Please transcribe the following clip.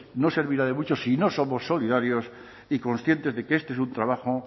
no servirá de mucho si no somos solidarios y conscientes de que este es un trabajo